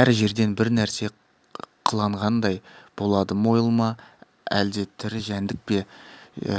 әр жерден бір нәрсе қылаңдағандай болады мойыл ма әлде тірі жәндік пе